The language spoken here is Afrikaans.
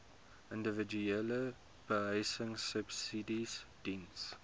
individuele behuisingsubsidies diens